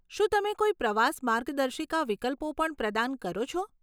શું તમે કોઈ પ્રવાસ માર્ગદર્શિકા વિકલ્પો પણ પ્રદાન કરો છો?